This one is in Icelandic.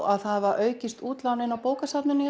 að það hafa aukist útlánin á bókasafninu